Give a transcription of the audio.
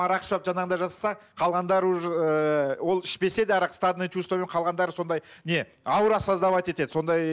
арақ ішіп алып жаңағыдай жасаса қалғандары уже ыыы ол ішпесе де арақ стадный чувствомен қалғандары сондай не аура создавать етеді сондай